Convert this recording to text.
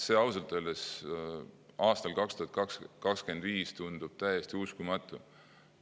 See ausalt öeldes aastal 2025 tundub täiesti uskumatu.